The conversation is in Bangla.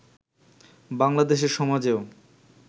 বাংলাদেশের সমাজেও